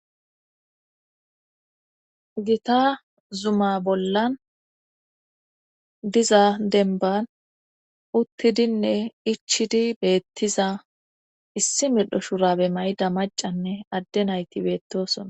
gita zuma bollan diza denban uttidinne ichidi beettiza issi middho shurabe mayida macanne adde nayti beettosona